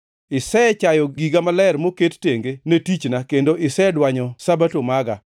Isechayo giga maler moket tenge ne tichna kendo isedwanyo Sabato maga.